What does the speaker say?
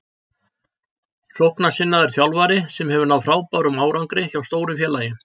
Sóknarsinnaður þjálfari sem hefur náð frábærum árangri hjá stóru félagi.